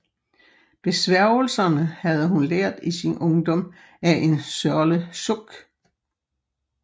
Besværgelserne havde hun lært i sin ungdom af en Sørle Sukk